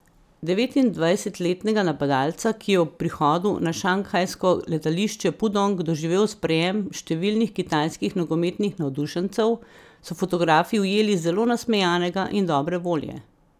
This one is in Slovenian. Devetindvajsetletnega napadalca, ki je ob prihodu na šanghajsko letališče Pudong doživel sprejem številnih kitajskih nogometnih navdušencev, so fotografi ujeli zelo nasmejanega in dobre volje.